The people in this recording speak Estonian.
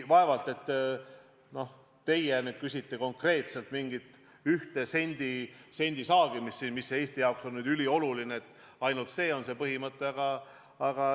Vaevalt, et te nüüd küsite konkreetselt mingisugust ühe sendi saagimist – et see on Eesti jaoks ülioluline ja et ainult see on see põhimõte.